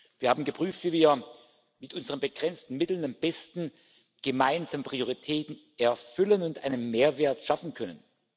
Wir haben geprüft, wie wir mit unseren begrenzten Mitteln am besten gemeinsame Prioritäten erfüllen und einen Mehrwert schaffen können.